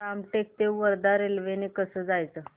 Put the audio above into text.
रामटेक ते वर्धा रेल्वे ने कसं जायचं